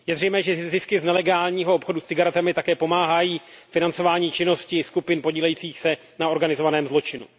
Je zřejmé, že zisky z nelegálního obchodu s cigaretami také pomáhají financování činností skupin podílejících se na organizovaném zločinu.